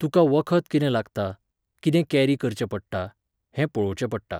तुका वखद कितें लागता, कितें कॅरी करचें पडटा, हें पळोवचें पडटा.